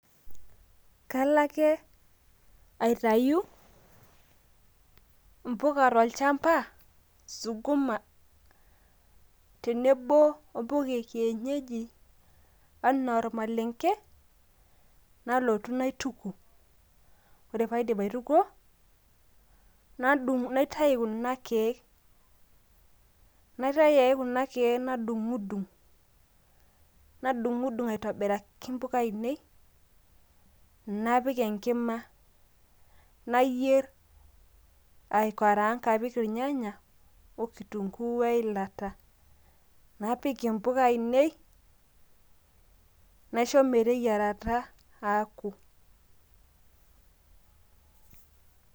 kale ake aiyatu, mpiku tolchampa, suguma, tenebo o mpuka e kienyeji anaa olmaalenke. nalotu naituku, ore pee aidip aitukuo, naitayu kuna keek nadung'i dung' aitobiraki mpuka ainei napik enkima nayier aikaraang apik kitunguu ornyanya naisho meteyiarata aaku.